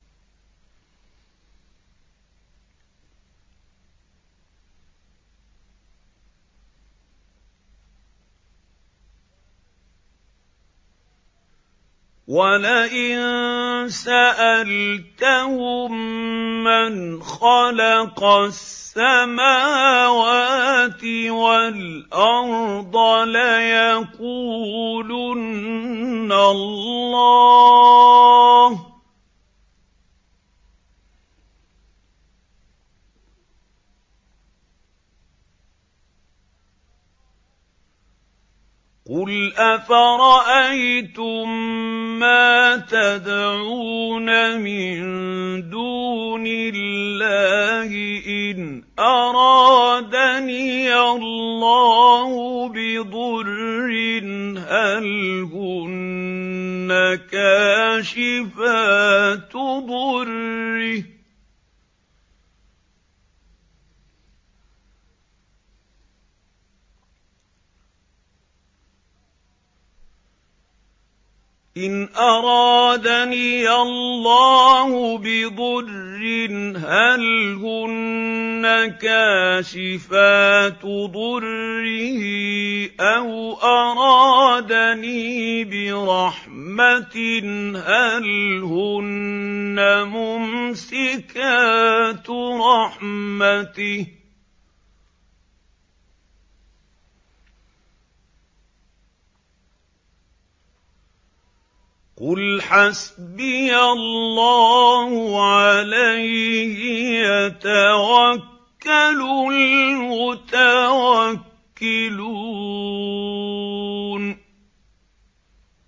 وَلَئِن سَأَلْتَهُم مَّنْ خَلَقَ السَّمَاوَاتِ وَالْأَرْضَ لَيَقُولُنَّ اللَّهُ ۚ قُلْ أَفَرَأَيْتُم مَّا تَدْعُونَ مِن دُونِ اللَّهِ إِنْ أَرَادَنِيَ اللَّهُ بِضُرٍّ هَلْ هُنَّ كَاشِفَاتُ ضُرِّهِ أَوْ أَرَادَنِي بِرَحْمَةٍ هَلْ هُنَّ مُمْسِكَاتُ رَحْمَتِهِ ۚ قُلْ حَسْبِيَ اللَّهُ ۖ عَلَيْهِ يَتَوَكَّلُ الْمُتَوَكِّلُونَ